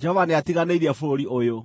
Jehova nĩatiganĩirie bũrũri ũyũ.’ ”